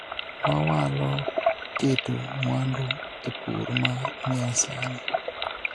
wawalo keto mwandu e pur ma nya sani